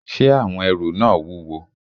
Ṣé àwọn ẹrù náà wúwo?